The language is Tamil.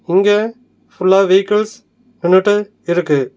இங்க ஃபுல்லா வெஹிக்கல்ஸ் நின்னுட்டு இருக்கு.